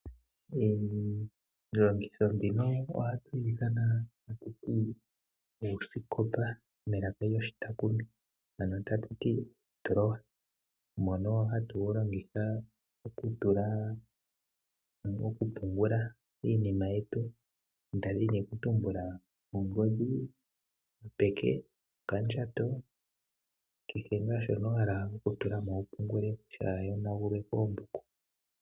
iilongitho mbino ohatu yi ithana kutya uusikopa, mbono hatu wu longitha okupungula iinima yetu ngaashi ongodhi yopeke, okandjato nakehe ngaa shono wa hala okupungula kaashi yonagulwe koombuku.